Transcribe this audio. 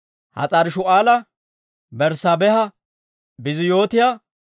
Has'aari-Shu'aala, Berssaabeeha, Biiziyootiyaa,